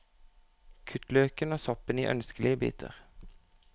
Kutt løken og soppen i ønskelige biter.